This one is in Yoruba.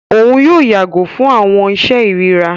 Òun yóò yàgò fún awọn iṣe irira.